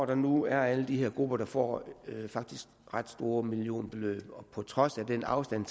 der nu er alle de her grupper der faktisk får ret store millionbeløb på trods af den afstand